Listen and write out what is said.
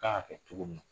Kan ka kɛ cogo min na